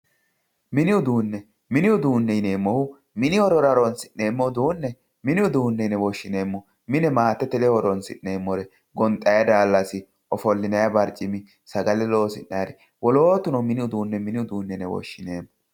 Mini uduune, mini uduune yineemmohu mini horora horonsi'neemmo uduune mini uduune yine woshshineemmo mine maatete ledo horonsi'neemmore gonxanni daalasi, ofollinanni barcimi sagale loosi'nanniri wolootuno mini uduune mini uduuneti yine woshshineemmo.